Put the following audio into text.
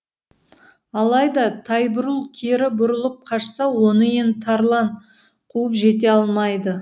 алайда тайбұрыл кері бұрылып қашса оны енді тарлан қуып жете алмайды